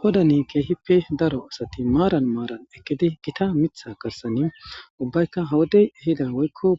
Qodaan daro asati gita miththa garissan eqidi